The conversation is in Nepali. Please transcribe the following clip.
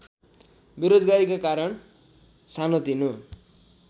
बेरोजगारीका कारण सानोतिनो